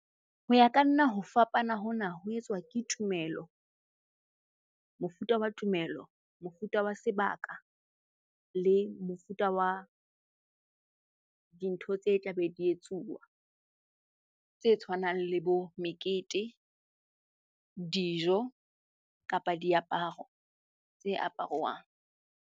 Ho ya ka nna ho fapana hona ho etswa ke tumelo. Mofuta wa tumelo, mofuta wa sebaka le mofuta wa dintho tse tla be di etsuwa tse tshwanang le bo mekete, dijo kapa diaparo tse aparuwang.